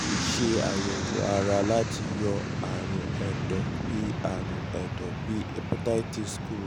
a lè ṣe àyẹ̀wò um ara láti um yọ àrùn ẹ̀dọ̀ bí àrùn ẹ̀dọ̀ bí àrùn hepatitis kúrò